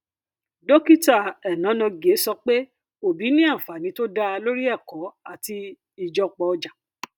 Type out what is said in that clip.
dókítà enonogie sọ pé obi ní ànfàní tó dá lórí ẹkọ àti ìjọpọ ọjà